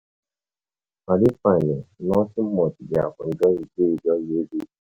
I dey fine oo, nothing much dey